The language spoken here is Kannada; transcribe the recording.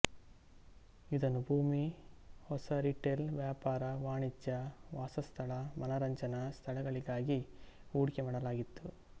ಇದನ್ನು ಭೂಮಿ ಹೊಸ ರಿಟೇಲ್ ವ್ಯಾಪಾರ ವಾಣಿಜ್ಯ ವಾಸಸ್ಥಳ ಮನರಂಜನಾ ಸ್ಥಳಗಳಿಗಾಗಿ ಹೂಡಿಕೆ ಮಾಡಲಾಗಿತ್ತು